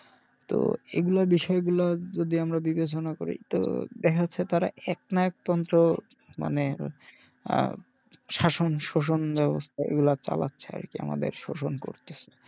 তো এগুলোর বিষয় গুলো যদি আমরা বিবেচনা করি তো দেখা যাচ্ছে তারা এক না এক তন্ত্র মানে আহ শাসন শোষণ এগুলা চালাচ্ছে আরকি আমাদের শোষণ করতেছে।